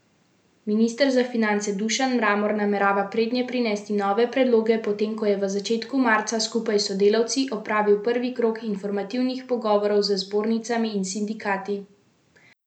Minister za finance Dušan Mramor namerava prednje prinesti nove predloge, potem ko je v začetku marca skupaj s sodelavci opravil prvi krog informativnih pogovorov z zbornicami in sindikati.